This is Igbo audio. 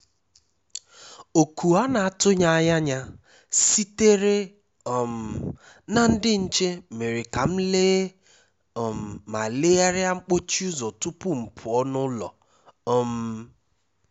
Oku a na-atụghị anya ya sitere um ná ndị nche mere ka m lee um ma legharịa mkpọchi ụ́zọ́ tupu m pụọ n’ụlọ. um